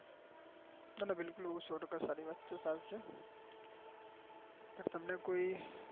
ના ના બિલકુલ સૌ ટકા સારી વાત કહું ચાલશે